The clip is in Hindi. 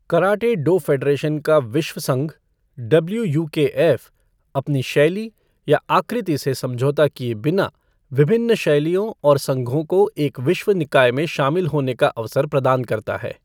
कराटे डो फ़ेडरेशन का विश्व संघ, डब्ल्यू यू के एफ़, अपनी शैली या आकृति से समझौता किए बिना, विभिन्न शैलियों और संघों को एक विश्व निकाय में शामिल होने का अवसर प्रदान करता है।